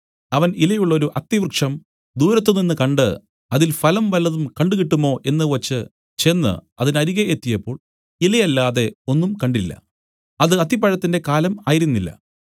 അവൻ ഇലയുള്ളൊരു അത്തിവൃക്ഷം ദൂരത്തുനിന്ന് കണ്ട് അതിൽ ഫലം വല്ലതും കണ്ടുകിട്ടുമോ എന്നു വെച്ച് ചെന്ന് അതിനരികെ എത്തിയപ്പോൾ ഇല അല്ലാതെ ഒന്നും കണ്ടില്ല അത് അത്തിപ്പഴത്തിന്റെ കാലം ആയിരുന്നില്ല